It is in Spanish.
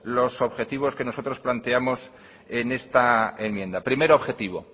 los objetivos que nosotros planteamos en esta enmienda primer objetivo